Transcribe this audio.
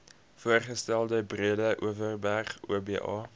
voorgestelde breedeoverberg oba